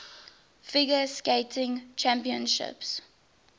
figure skating championships